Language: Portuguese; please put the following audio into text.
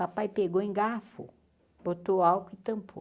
Papai pegou engafou, botou álcool e tampou.